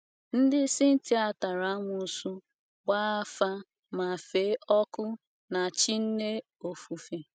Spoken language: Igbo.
Ndị Scythia tara amụsu, gbaa afa ma fee ọkụ na chi nne ofufe.